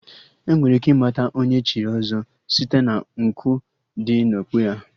Enwere ike ịmata Onye echiri ọzọ site na nku dị n'okpu ya